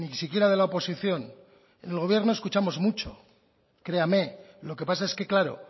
siquiera de la oposición en el gobierno escuchamos mucho créame lo que pasa es que claro